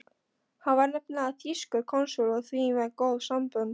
Hann var nefnilega þýskur konsúll og því með góð sambönd.